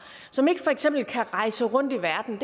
som ikke kan rejse rundt i verden